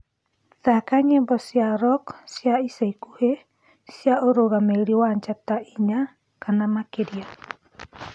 thaka nyĩmbo cĩa rock cĩa ica ĩkũhĩ cĩa urugamiriri wa njata ĩnya kana makiria